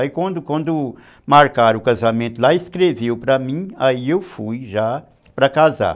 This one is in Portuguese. Aí quando quando marcaram o casamento lá, escreveram para mim, aí eu fui já para casar.